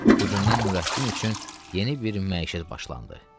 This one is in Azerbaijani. Bugündən Nurəddin üçün yeni bir məişət başlandı.